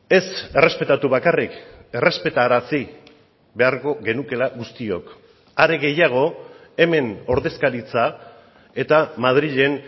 ez errespetatu bakarrik errespetarazi beharko genukeela guztiok are gehiago hemen ordezkaritza eta madrilen